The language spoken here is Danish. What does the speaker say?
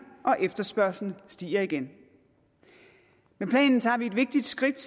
og efterspørgslen stiger igen med planen tager vi et vigtigt skridt